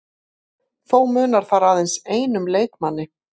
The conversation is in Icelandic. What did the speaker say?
Þó munar þar aðeins einum leikmanni